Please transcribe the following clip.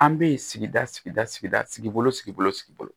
An bɛ sigida sigida sigida sigi o sigi